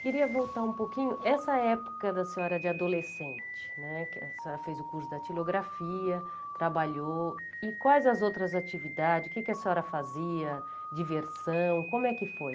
Queria voltar um pouquinho, essa época da senhora de adolescente, né que a senhora fez o curso de datilografia, trabalhou, e quais as outras atividades, o que que a senhora fazia, diversão, como é que foi?